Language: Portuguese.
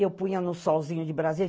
Eu punha no solzinho de Brasília.